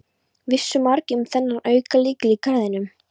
Vissu margir um þennan aukalykil í garðinum?